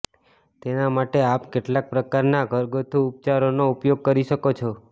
તેના માટે આપ કેટલાક પ્રકારનાં ઘરગથ્થુ ઉપચારોનો ઉપયોગ કરી શકો છે